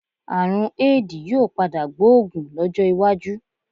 Àrùn Éèdì yóò padà gbóògùn lọ́jọ́ iwájú.